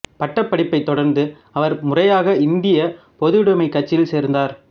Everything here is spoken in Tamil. பட்டப்படிப்பைத் தொடர்ந்து அவர் முறையாக இந்திய பொதுவுடமைக் கட்சியில் சேர்ந்தார்